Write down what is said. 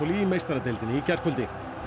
í meistaradeildinni í gærkvöldi